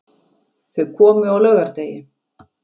Þau komu á laugardegi.